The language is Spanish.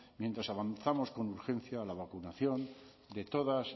mientras avanzamos con urgencia a la vacunación de todas